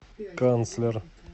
канцлер